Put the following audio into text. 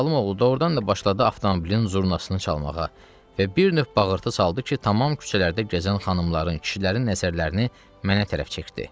Zalım oğlu doğrudan da başladı avtomobilin jurnalını çalmağa və bir növ bağırtı saldı ki, tamam küçələrdə gəzən xanımların, kişilərin nəzərlərini mənə tərəf çəkdi.